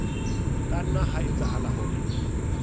ka nna ha etsahala hore